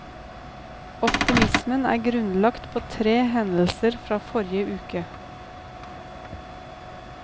Optimismen er grunnlagt på tre hendelser fra forrige uke.